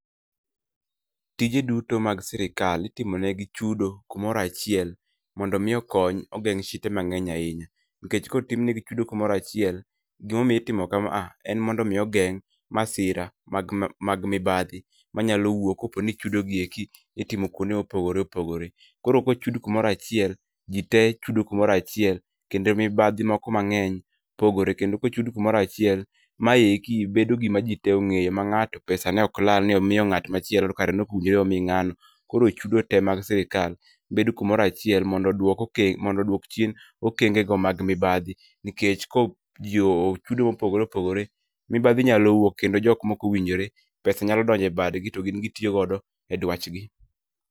Tije duto mag sirikal itimo negi chudo kumoro achiel mondo omi okony ogeng' shite mang'eny ahinya. Nikech kotim negi chudo kumoro achiel, gimomiyo itimo kama a en mondo omi ogeng' masira mag mibadhi manyalo wuok koponi chudo gieki itimo kwondoe mopogore opogore. Koro kochud kumoro achiel, jitee chudo kumoro achiel kendo mibadhi moko mang'eny pogore. Kendo kochud kumoro achiel, mayeki bedo gima jitee ong'eyo ma ng'ato pesa ne ok lal ni omiyo ng'at machielo to kare ne ok owinjore omi ng'ano. Koro chudo tee mag sirikal, bedo kumoro achiel mondo oduok okenge mondo oduok chien okengego mag mibadhi nikech jii ochudo mopogore opogore, mibadhi nyalo wuok kendo jok mokowinjore, pesa nyalo donjo e badgi to gin gitiyo godo e dwachgi